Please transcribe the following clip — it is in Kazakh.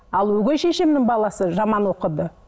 ал өгей шешемнің баласы жаман оқыды